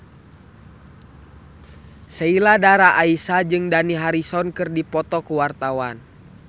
Sheila Dara Aisha jeung Dani Harrison keur dipoto ku wartawan